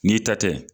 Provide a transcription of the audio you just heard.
N'i ta tɛ